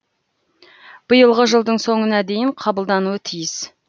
биылғы жылдың соңына дейін қабылдануы тиіс